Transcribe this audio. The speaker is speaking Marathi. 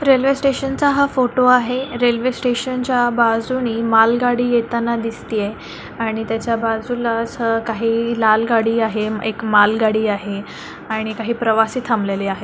रेल्वे स्टेशन चा हा फोटो आहे. रेल्वे स्टेशन च्या बाजूनी मालगाडी येताना दिसती आहे आणि त्याच्या बाजूला अस काही लाल गाडी आहे. एक मालगाडी आहे आणि काही प्रवासी थांबलेले आहेत.